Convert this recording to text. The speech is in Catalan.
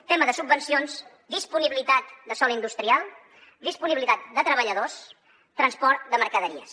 tema de subvencions disponibilitat de sòl industrial disponibilitat de treballadors transport de mercaderies